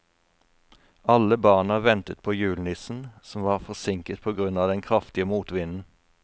Alle barna ventet på julenissen, som var forsinket på grunn av den kraftige motvinden.